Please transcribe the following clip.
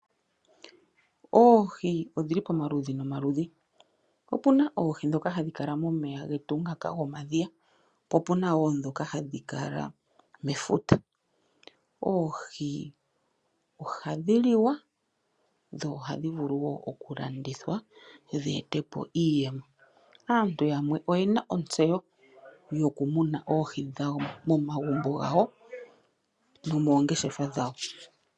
Oohi odhili pamaludhi nomaludhi, opuna oohi ndhoka hadhi kala momeya getu ngaka gomadhiya po puna woo ndhoka hadhi kala mefuta. Oohi ohadhi liwa nohadhi vulu wo oku landithwa dheetepo iiyemo. Aantu yamwe oyena ontseyo yoku muna oohi momagumbo gawo nomoongeshefa dhawo.